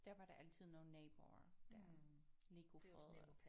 Der var der altid nogle naboer der lige kunne fodre